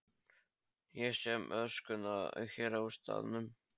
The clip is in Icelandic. Ég sé um öskuna hér á staðnum.